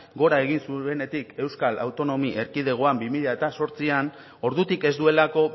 gora egin zuenetik euskal autonomia erkidegoan bi mila zortzian ordutik ez duelako